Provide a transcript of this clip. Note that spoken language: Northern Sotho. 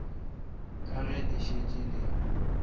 ka ge le šetše le